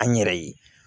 An yɛrɛ ye